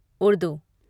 Urdu